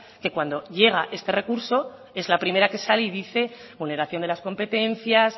que cuando llega este recurso es la primera que sale y dice vulneración de las competencias